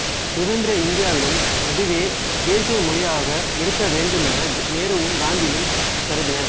சுதந்திர இந்தியாவிலும் அதுவே தேசிய மொழியாக இருக்க வேண்டுமென நேருவும் காந்தியும் கருதினர்